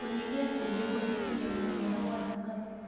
Kũnyĩhĩa cũmbĩ kũnyĩhagĩa gũtengera gwa thakame